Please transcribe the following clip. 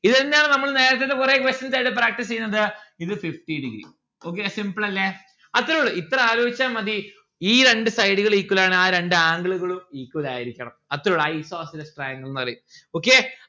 ഇതെന്നാണ് നമ്മൾ നേരത്തത്തെ കൊറേ questions ആയിട്ട് practice എയ്യണത്. ഇത് fifty degree. okay simple അല്ലെ അത്തറുള്ളു ഇത്ര ആലോചിച്ചാൽ മതി ഈ രണ്ട് side ഉകൾ equal ആണ് ആ രണ്ട്‌ angle ഉകളും equal ആയിരിക്കണം അത്തറുള്ളു ഉള്ളു Isosceles triangle ന്ന്‌ പറയും okay